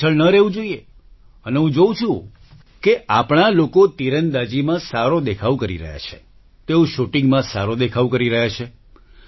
પાછળ ન રહેવું જોઈએ અને હું જોઉં છું કે આપણા લોકો તીરંદાજીમાં સારો દેખાવ કરી રહ્યા છે તેઓ શૂટિંગમાં સારો દેખાવ કરી રહ્યા છે